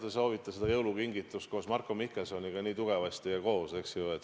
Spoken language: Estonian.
Te soovite seda jõulukingitust koos Marko Mihkelsoniga nii tugevasti ja koos.